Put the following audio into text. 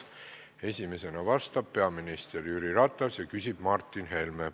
Esimesena vastab peaminister Jüri Ratas ja küsib Martin Helme.